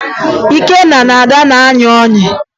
Ikenna na Ada na-ayị ọyị